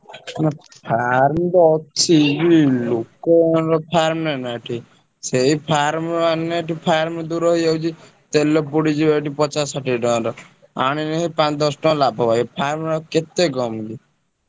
କୁ farm ତ ଅଛି। ଲୋକ farm ନା ଏଠି ସେଇ farm ଆମ ଏଠୁ farm ଦୂର ହେଇଯାଉଛି। ତେଲ ପଡିଯିବ ଏଠି ପଚାଶ ଷାଠିଏ ଟଙ୍କାର। ଆଣିଲେ ସେଇ ପାଞ୍ଚ ଦଶ ଟଙ୍କା ଲାଭ ଭାଇ। farm ରେ ଆଉ କେତେ କମ୍ କି?